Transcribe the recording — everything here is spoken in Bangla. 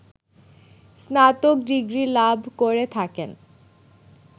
স্নাতক ডিগ্রী লাভ করে থাকেন